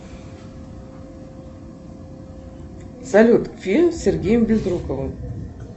салют фильм с сергеем безруковым